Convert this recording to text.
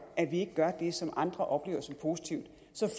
at de ikke gør det som andre oplever som positivt så